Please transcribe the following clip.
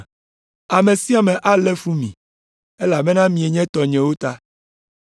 Ame sia ame alé fu mi, elabena mienye tɔnyewo ta.